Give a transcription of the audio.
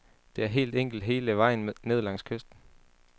Det er helt enkelt hele vejen ned langs kysten.